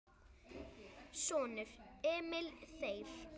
Sonur: Emil Þeyr.